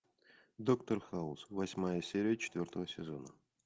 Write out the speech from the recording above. доктор хаус восьмая серия четвертого сезона